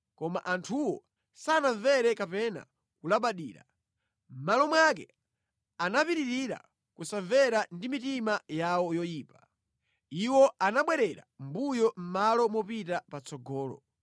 Koma anthuwo sanamvere kapena kulabadira; mʼmalo mwake anapitirira kusamvera ndi mitima yawo yoyipa. Iwo anabwerera mʼmbuyo mʼmalo mopita patsogolo.